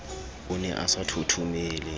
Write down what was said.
o ne a sa thothomele